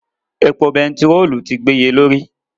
Epo bẹntiróòlù ti gbéye lórí.